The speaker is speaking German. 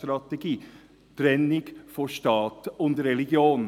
die Trennung von Staat und Religion.